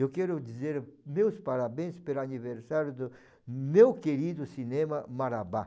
Eu quero dizer meus parabéns pelo aniversário do meu querido cinema Marabá.